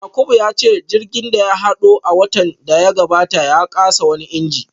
Yakubu ya ce jirgin da ya hado a watan da ya gabata ya kasa wani injin